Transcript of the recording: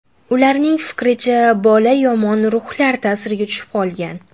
Ularning fikricha, bola yomon ruhlar ta’siriga tushib qolgan.